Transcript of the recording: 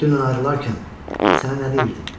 Dünən ayrılarkən sənə nə deyirdim?